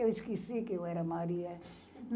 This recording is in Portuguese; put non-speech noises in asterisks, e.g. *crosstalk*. Eu esqueci que eu era Maria. *laughs*